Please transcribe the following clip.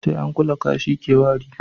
sai an kula kashi ya ke wari